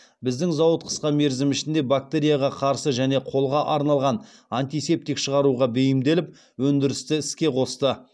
біздің зауыт қысқа мерзім ішінде бактерияға қарсы және қолға арналған антисептик шығаруға бейімделіп өндірісті іске қосты